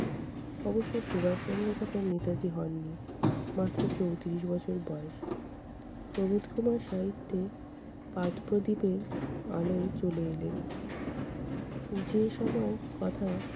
অবশ্য সুভাষচন্দ্র তখন নেতাজি হননি। মাত্র চৌত্রিশ বছর বয়স। প্রবোধ কুমার সাহিত্যে পাঠ-প্রদীপের আলোয় চলে এলেন। যে সময়ের কথা